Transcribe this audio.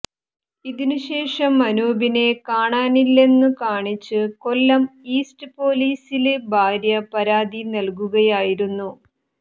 ഇതിനുശേഷം അനൂപിനെ കാണാനില്ലെന്നു കാണിച്ച് കൊല്ലം ഈസ്റ്റ് പോലീസില് ഭാര്യ പരാതി നല്കുകയായിരുന്നു